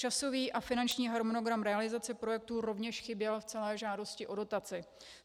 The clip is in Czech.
Časový a finanční harmonogram realizace projektu rovněž chyběl v celé žádosti o dotaci.